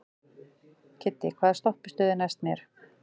Kiddi, hvaða stoppistöð er næst mér?